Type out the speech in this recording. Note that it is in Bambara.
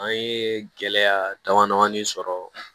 An ye gɛlɛya dama dama de sɔrɔ